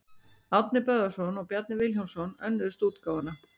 Árni Böðvarsson og Bjarni Vilhjálmsson önnuðust útgáfuna.